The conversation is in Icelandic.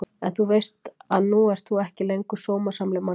En þú veist að nú ert þú ekki lengur sómasamleg manneskja.